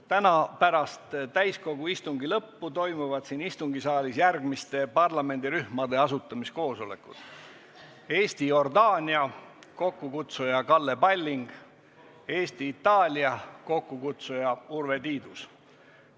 Täna pärast täiskogu istungi lõppu toimuvad siin istungisaalis järgmiste parlamendirühmade asutamiskoosolekud: Eesti-Jordaania parlamendirühm, mille kokkukutsuja on Kalle Palling, ja Eesti-Itaalia parlamendirühm, mille kokkukutsuja on Urve Tiidus.